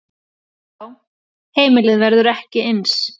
Já, heimilið verður ekki eins.